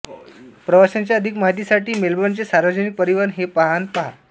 प्रवासाच्या अधिक माहीतीसाठी मेलबर्नचे सार्वजनिक परिवहन हे पान पहा